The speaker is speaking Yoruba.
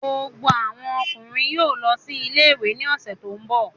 Gbogbo àwọn ọkùnrin yóò lọ sí ilé-ìwé ní ọ̀sẹ̀ tó ń bọ̀